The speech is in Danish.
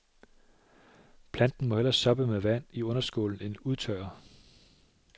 Planten må hellere soppe med vand i underskålen end udtørre.